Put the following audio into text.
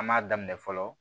An m'a daminɛ fɔlɔ